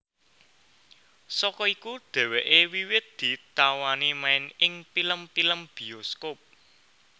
Saka iku dheweke wiwit ditawani main ing pilem pilem biyoskop